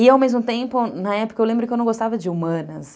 E, ao mesmo tempo, na época, eu lembro que eu não gostava de humanas.